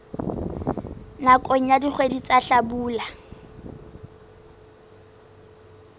nakong ya dikgwedi tsa hlabula